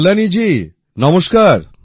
কল্যাণী জি নমস্কার